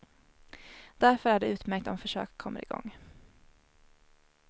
Därför är det utmärkt om försök kommer igång.